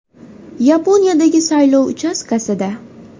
Yaponiyadagi saylov uchastkasida.